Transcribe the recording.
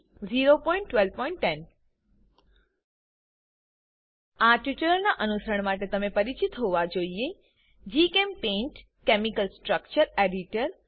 01210 આ ટ્યુટોરીયલનાં અનુસરણ માટે તમે પરિચિત હોવા જોઈએ જીચેમ્પેઇન્ટ કેમિકલ સ્ટ્રક્ચર એડિટર